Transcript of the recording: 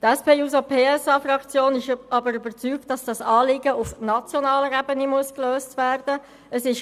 Die SP-JUSO-PSA-Fraktion ist nun aber überzeugt, dass dieses Anliegen auf nationaler Ebene gelöst werden muss.